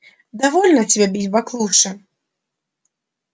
довольно тебе бить баклуши